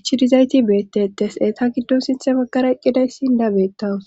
ichidizayti beettettes eeta giddon sinthe baggara eqqidayssi dabeettawus